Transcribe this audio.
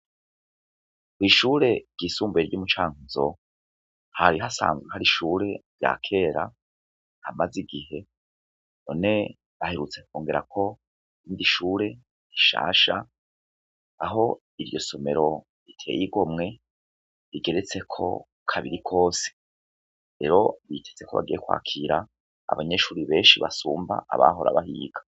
Ko'ishure ry'isumbuye ry'umucankuzo hari ho asanzwe hari ishure rya kera amaze igihe one ahirutse kongera ko ndi ishure rishasha aho iryo somero riteye iromwe rigeretseko kabiri kose ero bitetze kubagiye kwakira abanyeshuri benshi basumba abahora bahiga.